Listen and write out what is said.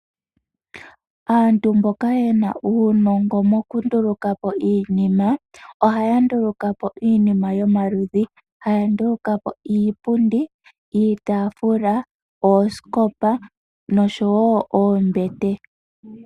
Aantu mboka yena uunongo mokundulukapo iinima, ohaya ndulukapo iinima yomaludhi. Haya ndulukapo iipundi, iitaafula, oosikopa noshowo oombete.